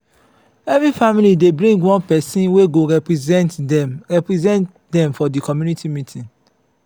every family dey bring one pesin wey go represent dem represent dem for di community meeting.